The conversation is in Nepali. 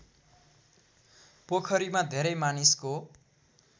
पोखरीमा धेरै मानिसको